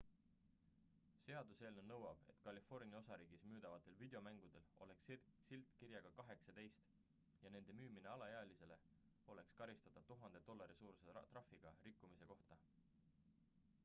seaduseelnõu nõuab et california osariigis müüdavatel videomängudel oleks silt kirjaga 18 ja nende müümine alaealisele oleks karistatav 1000 dollari suuruse trahviga rikkumise kohta